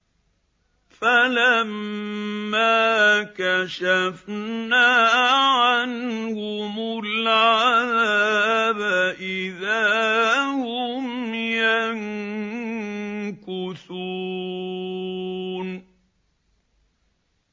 فَلَمَّا كَشَفْنَا عَنْهُمُ الْعَذَابَ إِذَا هُمْ يَنكُثُونَ